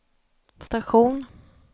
station